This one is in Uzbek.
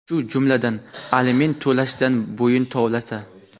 shu jumladan aliment to‘lashdan bo‘yin tovlasa;.